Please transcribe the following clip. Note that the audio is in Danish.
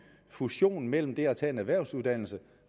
fusion mellem det at tage en erhvervsuddannelse